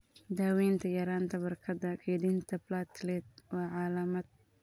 Daawaynta yaraanta barkada kaydinta platelet waa calaamad.